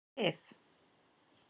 Sif